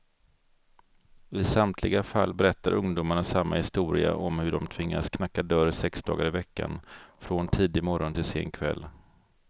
I samtliga fall berättar ungdomarna samma historia om hur de tvingats knacka dörr sex dagar i veckan, från tidig morgon till sen kväll.